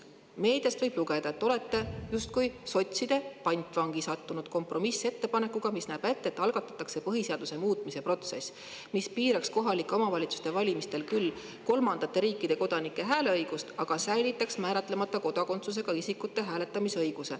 Meediast võib lugeda, et te olete justkui sotside pantvangi sattunud kompromissettepanekuga, mis näeb ette, et algatatakse põhiseaduse muutmise protsess, mis piiraks kohalike omavalitsuste valimistel küll kolmandate riikide kodanike hääleõigust, aga säilitaks määratlemata kodakondsusega isikute hääletamisõiguse.